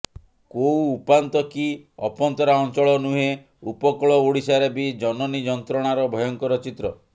କୋଉ ଉପାନ୍ତ କି ଅପନ୍ତରା ଅଞ୍ଚଳ ନୁହେଁ ଉପକୂଳ ଓଡ଼ିଶାରେ ବି ଜନନୀ ଯନ୍ତ୍ରଣାର ଭୟଙ୍କର ଚିତ୍ର